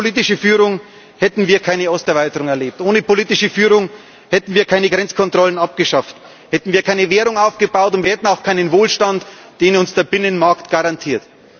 Ohne politische Führung hätten wir keine Osterweiterung erlebt, ohne politische Führung hätten wir keine Grenzkontrollen abgeschafft, hätten wir keine Währung aufgebaut, und wir hätten auch keinen Wohlstand, den uns der Binnenmarkt garantiert.